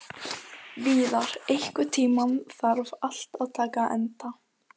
Víðar, einhvern tímann þarf allt að taka enda.